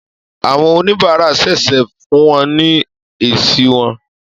Àwọn oníbàárà ṣẹ̀ṣẹ̀ fún wọn ní èsì wọn